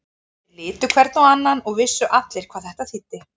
Þeir litu hver á annan og vissu allir hvað þetta þýddi.